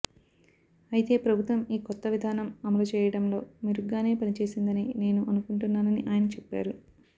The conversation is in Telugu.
అయితే ప్రభుత్వం ఈ కొత్త విధానం అమలుచేయడంలో మెరుగ్గానే పనిచేసిందని నేను అనుకుంటున్నాని ఆయన చెప్పారు